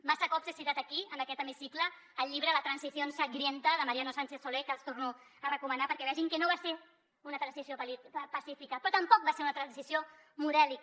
massa cops he citat aquí en aquest hemicicle el llibre la transición sangrienta de mariano sánchez soler que els torno a recomanar perquè vegin que no va ser una transició pacífica però tampoc va ser una transició modèlica